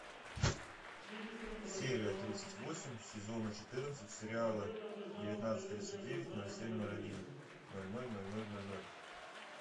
серия тридцать восемь сезона четырнадцать сериала девятнадцать тридцать девять ноль семь ноль один ноль ноль ноль ноль ноль ноль